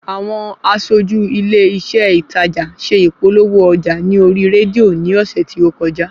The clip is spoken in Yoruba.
Àwọn aṣójú ilé iṣé ìtajà ṣe ìpolówó ọjà ní orí rédíò ní ọ̀sẹ̀ tí ókojá